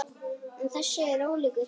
En þessi er ólíkur hinum.